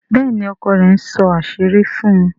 Béèni ọkọ rẹ̀ nsó àṣírí fún.